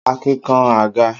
Akin kan àga.